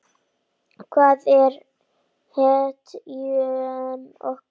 Hann var hetjan okkar.